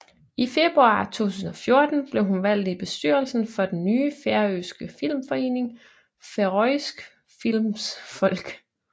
I februar 2014 blev hun valgt i bestyrelsen for den nye færøske filmforening Føroysk Filmsfólk